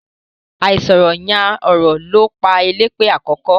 Àìsọ̀rọ̀ yán ọ̀rọ̀ ló pa Eléèpé àkọ́kọ́.